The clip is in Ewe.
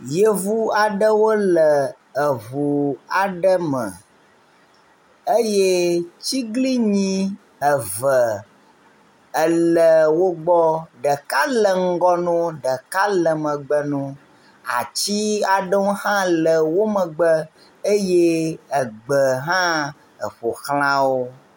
Yevu aɖewo le eŋu aɖe me eye atiglinyi eve ele wo gbɔ, ɖeka le ŋgɔ ne wo, ɖeka le megbe na wo. Ati aɖewo hã le wo megbe eye egbe hã eƒo xla wo.